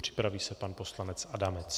Připraví se pan poslanec Adamec.